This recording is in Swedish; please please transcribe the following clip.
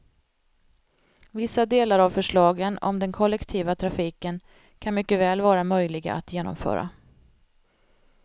Vissa delar av förslagen om den kollektiva trafiken kan mycket väl vara möjliga att genomföra.